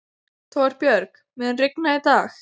Torbjörg, mun rigna í dag?